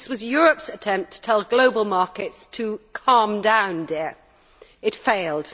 This was Europe's attempt to tell global markets to calm down, dear It failed.